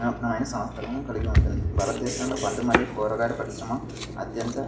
వినూత్నమైన సామర్ధ్యం కలిగి ఉంటుంది. భారతదేశంలో పండ్లు మరియు కూరగాయల పరిశ్రమ అత్యంత --